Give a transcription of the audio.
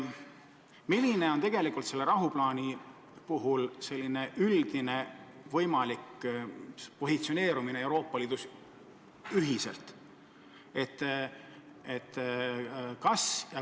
Milline on selle rahuplaani puhul võimalik üldine positsioon Euroopa Liidus?